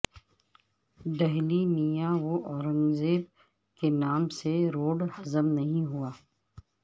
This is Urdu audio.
دہلی میںاورنگ زیب کے نام سے روڈہضم نہیں ہوا